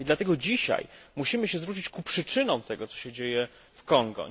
I dlatego dzisiaj musimy się zwrócić ku przyczynom tego, co się dzieje w Kongu.